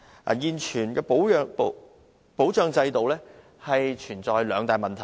代理主席，現行保障制度存在兩大問題。